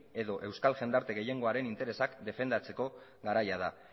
edo euskal jendarte gehiengoaren interesak defendatzeko garaia da